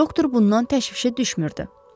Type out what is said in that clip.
Doktor bundan təşvişə düşmürdü.